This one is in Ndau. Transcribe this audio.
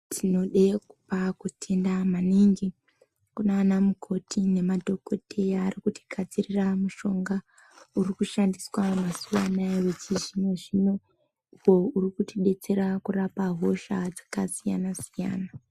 Tinoda kupa kutenda maningi kunana mukoti nemadhokodheya arikutigadzirira mushonga uriku shandiswa mazuvano wechizvino zvino uyo urikubatsira kurapa hosha dzakasiyana siyana.